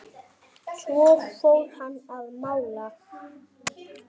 Svo fór hann að mála.